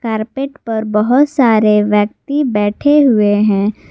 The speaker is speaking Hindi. कार्पेट पर बहोत सारे व्यक्ति बैठे हुए हैं।